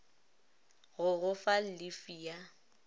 go go fa llifi ya